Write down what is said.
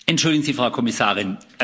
Entschuldigen Sie, Frau Kommissarin.